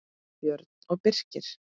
Björn og Birkir.